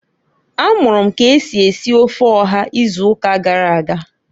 A mụrụ m k'esi esi ofe ọha ịzụụka gara aga.